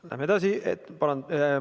Läheme edasi.